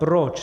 Proč?